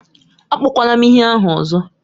Akpọkwala m ihe ahụ ọzọ!